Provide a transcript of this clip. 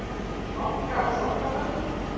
Sokka og sokkabönd.